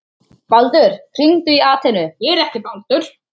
Baldur, hringdu í Atenu.